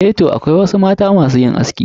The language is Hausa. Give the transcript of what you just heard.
Eh toh, akwai wasu mata masu yin aski.